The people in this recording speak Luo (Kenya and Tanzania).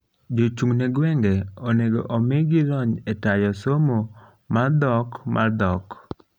jochung ne gwenge onego omigi lony e tayo somo mmar dhok mar dhok